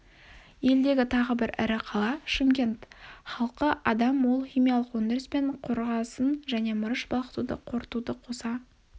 елдегі тағы бір ірі қала шымкент халқы адам ол химиялық өндіріс пен қорғасын және мырыш балқытуды қорытуды қоса